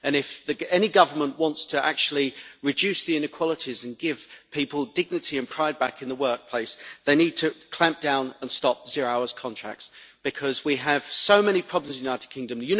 If any government wants actually to reduce the inequalities and give people back dignity and pride in the workplace, they need to clamp down and stop zero-hours contracts because we have so many problems in the United Kingdom.